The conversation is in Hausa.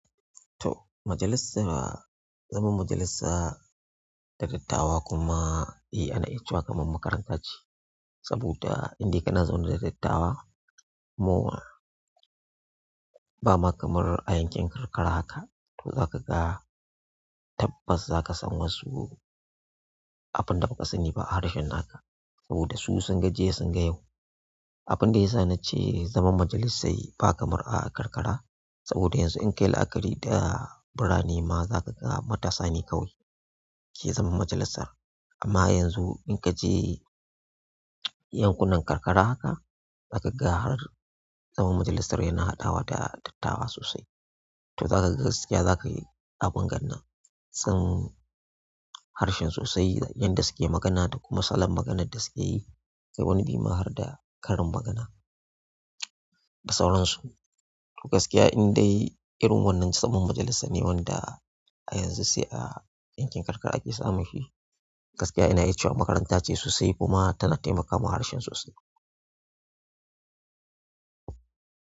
To, majalisa, zaman majalisa da dattawa kuma, eh ana icewa kaman makaranta ce. Saboda indai kana zaune da dattawa, mowa, ba ma kamar a yankin karkara haka, to zaka ga tabbas zaka san wasu abun da ba su ni ba harshen haka. Saboda su sun ga jiya sun ga yau. Abunda yasa nace zaman majalisa yi ba kamar a karkara, saboda yanzu in ka yi la'akari da birane ma zaka ga matasane kawai ke zaman majalisar. Amma yanzu in kaje yankunan karkara haka, zaka ga har zaman majalisar yana haɗawa da dattawa sosai. To zaka ga gaskiya zakayi abin gannan, sun harshen sosai, yadda suke magana da kuma salon maganan da suke yi. Kai wani bima har da karin magana, da sauransu. To gaskiya indai irin wannan zaman majalisa ne wanda a yanzu sai a yankin karkara ake samu shi. Gaskiya ina icewa makaranta ce sosai kuma tana taimakawa harshen sosai.